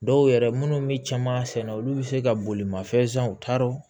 Dɔw yɛrɛ minnu bɛ caman sɛnɛ olu bɛ se ka bolimafɛn san u t'a dɔn